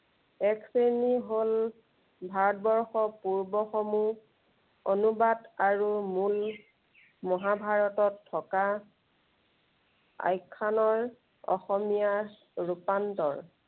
এক শ্ৰেণী হল ভাৰতবৰ্ষৰ পূৰ্ব সমূহ, অনুবাদ আৰু মূল মহাভাৰতত থকা আখ্য়ানৰ অসমীয়া ৰূপান্তৰ।